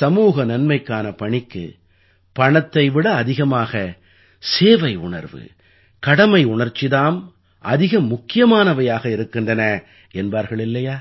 சமூக நன்மைக்கான பணிக்கு பணத்தை விட அதிகமாக சேவையுணர்வு கடமையுணர்ச்சி தாம் அதிக முக்கியமானவையாக இருக்கின்றன என்பார்கள் இல்லையா